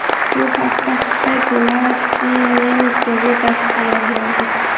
Bu haqda Het Laatste Nieuws gazetasi xabar berdi .